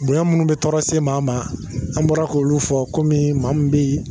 Bonya minnu bɛ tɔɔrɔ se maa ma an bɔra k'olu fɔ kɔmi maa min bɛ yen